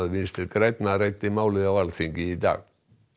Vinstri grænna ræddi málið á Alþingi í dag